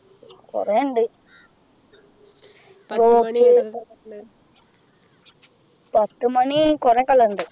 കുറേയുണ്ട് പത്തുമണി കുറെ color ണ്ട്